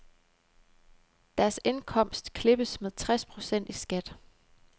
Deres indkomst klippes med tres procent i skat.